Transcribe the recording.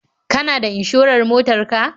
Kana da inshorar motar ka?